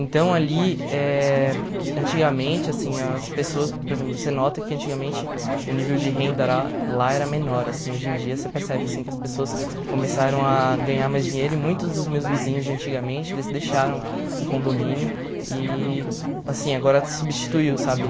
Então, ali, eh antigamente, assim, as pessoas, por exemplo, você nota que antigamente o nível de renda ra lá era menor, assim, hoje em dia você percebe, assim, que as pessoas começaram a ganhar mais dinheiro e muitos dos meus vizinhos de antigamente, eles deixaram o condomínio e, assim, agora substituiu, sabe?